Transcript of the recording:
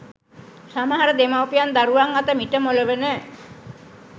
සමහර දෙමව්පියන් දරුවන් අත මිටමොලවන